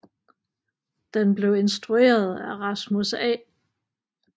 Den blev instrueret af Rasmus A